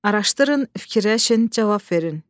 Araşdırın, fikirləşin, cavab verin.